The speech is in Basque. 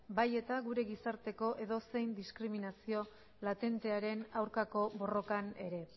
bai eta gure gizarteko edozein diskriminazio latentearen aurkako borrokan ere